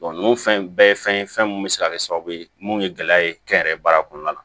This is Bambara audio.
nunnu fɛn bɛɛ ye fɛn ye fɛn mun be se ka kɛ sababu ye mun ye gɛlɛya ye kɛnyɛrɛye baara kɔnɔna la